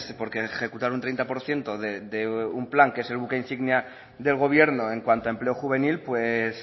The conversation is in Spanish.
porque ejecutar un treinta por ciento de un plan que es el buque insignia del gobierno en cuanto a empleo juvenil pues